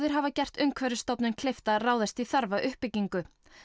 hafa gert Umhverfisstofnun kleift að ráðast í þarfa uppbyggingu